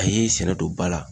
A ye sɛnɛ don ba la